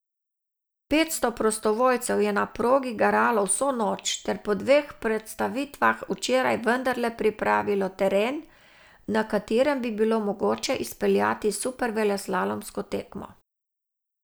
Petsto prostovoljcev je na progi garalo vso noč ter po dveh prestavitvah včeraj vendarle pripravilo teren, na katerem bi bilo mogoče izpeljati superveleslalomsko tekmo.